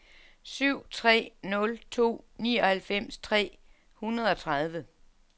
syv tre nul to nioghalvfems tre hundrede og tredive